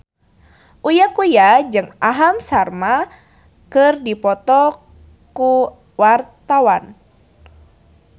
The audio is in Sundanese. Uya Kuya jeung Aham Sharma keur dipoto ku wartawan